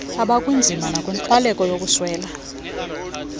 abakwinzima nenkxwaleko yokuswela